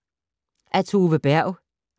Af Tove Berg